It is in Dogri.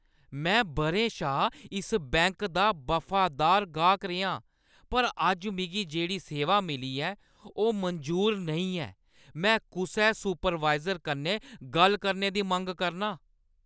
में बʼरें शा इस बैंक दा वफादार गाह्क रेहा आं, पर अज्ज मिगी जेह्ड़ी सेवा मिली ऐ ओह् मंजूर नेईं ऐ। में कुसै सुपरवायज़र कन्नै गल्ल करने दी मंग करनां !